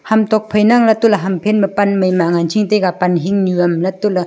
ham tuakphaima pan hingnu am.